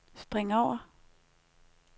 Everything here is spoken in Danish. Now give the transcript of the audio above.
spring over